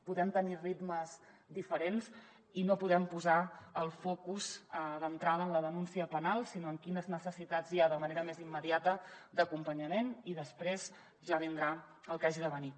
podem tenir ritmes diferents i no podem posar el focus d’entrada en la denúncia penal sinó en quines necessitats hi ha de manera més immediata d’acompanyament i després ja vindrà el que hagi de venir